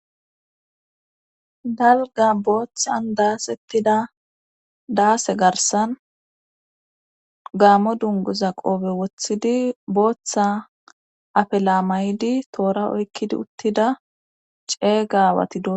dalga booththan daasettida daase garsan gaammo dunguza qoobe woththidi booththa afela mayidi toora oykkidi uttida ceega awati dosona